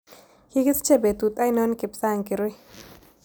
Kigisiche betut ainon kipsang kirui